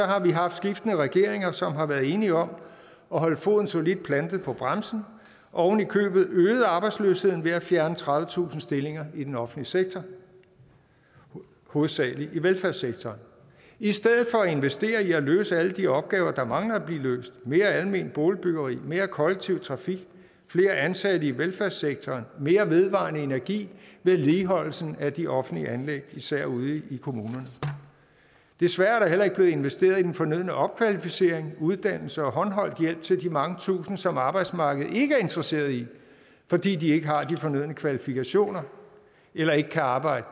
har vi haft skiftende regeringer som har været enige om at holde foden solidt plantet på bremsen og oven i købet øget arbejdsløsheden ved at fjerne tredivetusind stillinger i den offentlige sektor hovedsagelig i velfærdssektoren i stedet for at investere i at løse alle de opgaver der mangler at blive løst mere alment boligbyggeri mere kollektiv trafik flere ansatte i velfærdssektoren mere vedvarende energi vedligeholdelse af de offentlige anlæg især ude i kommunerne desværre er der heller ikke blevet investeret i den fornødne opkvalificering uddannelse og håndholdt hjælp til de mange tusinde som arbejdsmarkedet ikke er interesseret i fordi de ikke har de fornødne kvalifikationer eller ikke kan arbejde